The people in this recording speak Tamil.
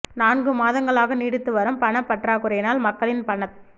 நான்கு மாதங்களாக நீடித்து வரும் பணப் பற்றாக் குறையினால் மக்களின் பணத்